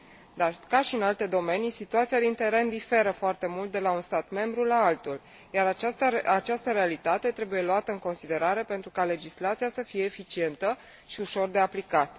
Dar ca și în alte domenii, situația din teren diferă foarte mult de la un stat membru la altul, iar această realitate trebuie luată în considerare pentru ca legislația să fie eficientă și ușor de aplicat.